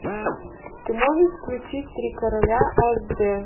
ты можешь включить три короля аш дэ